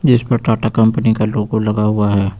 इस पर टाटा कंपनी का लोगो लगा हुआ है।